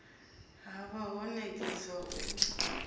ha vha ho nekedzwa u